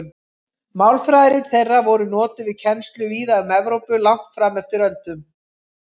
Málfræðirit þeirra voru notuð við kennslu víða um Evrópu langt fram eftir öldum.